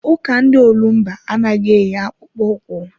Ụka ndị olumba anaghị eyi akpụkpọ ụkwụ.